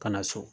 Ka na so